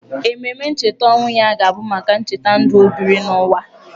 Ememe ncheta ọnwụ ya ga-abụ maka ncheta ndụ o biri n’ụwa.